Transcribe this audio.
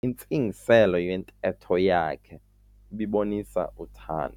Intsingiselo yentetho yakhe ibibonisa uthando.